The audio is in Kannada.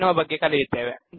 ಎನ್ನುವ ಬಗ್ಗೆ ಕಲಿಯುತ್ತೇವೆ